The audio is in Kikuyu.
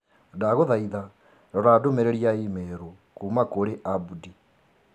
Ndagũthaitha rora ndũmĩrĩri ya i-mīrū kuuma kũrĩ Abdi.